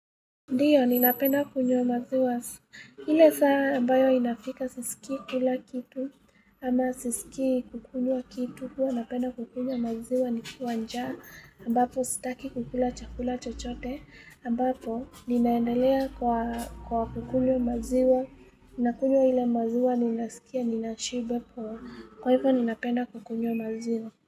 Ndiyo, ninapenda kunywa maziwa. Ile saa ambayo inafika sisiki kula kitu, ama sisiki kukunywa kitu, huwa napenda kukunywa maziwa nikiwa njaa, ambapo sitaki kukula chakula chochote, ambapo ninaendelea kwa kwa kukunywa maziwa, ninakunywa ile maziwa, ninasikia, ninashiba poa, kwa hivyo ninapenda kukunywa maziwa.